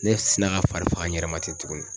Ne sina ka fari faga n yɛrɛ ma ten tuguni.